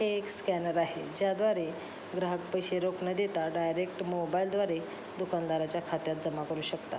हे एक स्कॅनर आहे ज्या द्वारे ग्राहक पैसे रोख न देता डायरेक्ट मोबाइल द्वारे दुकानदारच्या खात्यात जमा करू शकतात.